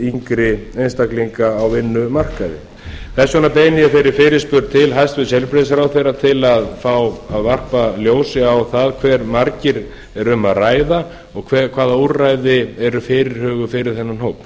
yngri einstaklinga á vinnumarkaði þess vegna beini ég þeirri fyrirspurn til hæstvirts heilbrigðisráðherra til að fá að varpa ljósi á það um hve marga er að ræða og hvaða úrræði eru fyrirhuguð fyrir þennan hóp